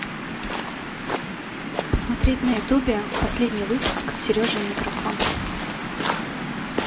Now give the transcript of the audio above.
посмотреть на ютубе последний выпуск сережа и микрофон